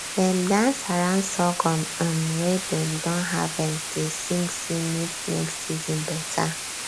dem dance around sorghum um wey dem don harvest dey sing say make next season better